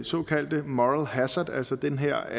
såkaldte moral hazard altså den her